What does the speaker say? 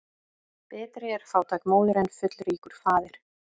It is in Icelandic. Betri er fátæk móðir en fullríkur faðir.